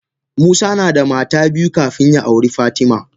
Musa nada mata biyu kafin ya auri fatima.